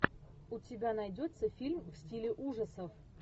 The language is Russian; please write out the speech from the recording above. у тебя найдется фильм в стиле ужасов